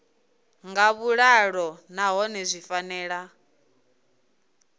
nga vhuḓalo nahone zwi fanela